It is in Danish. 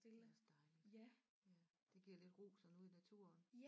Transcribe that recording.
Det er også dejligt ja det giver lidt ro sådan ude i naturen